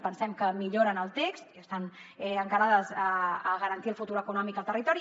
pensem que milloren el text i estan encarades a garantir el futur econòmic al territori